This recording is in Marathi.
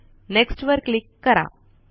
नेक्स्ट वर क्लिक करा